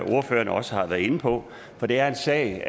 ordførerne også har været inde på for det er en sag